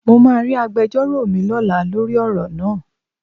Mo máa rí agbejọ́rò mi lọ́la lórí ọ̀rọ̀ náà.